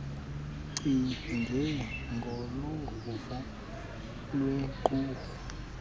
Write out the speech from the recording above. icinge ngoluvo lwequmrhu